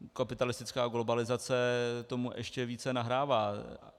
Kapitalistická globalizace tomu ještě více nahrává.